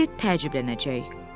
Piqlet təəccüblənəcək.